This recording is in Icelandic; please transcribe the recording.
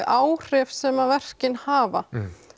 áhrif sem að verkin hafa